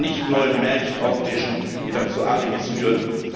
Bitte nicht neue Märchen auftischen, die dann zu Alibis führen!